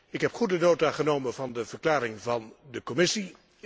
Ik heb goede nota genomen van de verklaring van de Commissie.